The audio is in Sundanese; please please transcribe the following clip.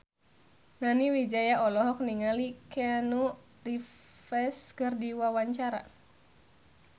Nani Wijaya olohok ningali Keanu Reeves keur diwawancara